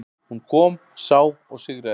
Hún kom, sá og sigraði.